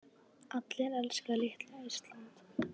Allir elska litla Ísland.